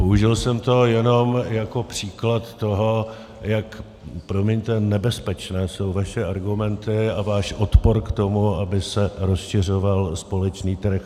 Použil jsem to jenom jako příklad toho, jak - promiňte - nebezpečné jsou vaše argumenty a váš odpor k tomu, aby se rozšiřoval společný trh.